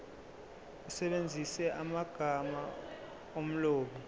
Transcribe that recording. usebenzise amagama omlobi